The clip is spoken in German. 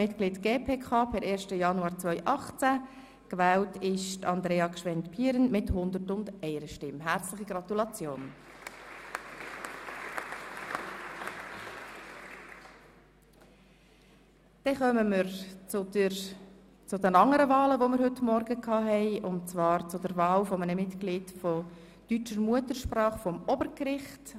Bei 117 ausgeteilten und 116 eingegangenen Wahlzetteln, wovon leer 4 und ungültig 0, in Betracht fallend 112, wird bei einem absoluten Mehr von 57 gewählt: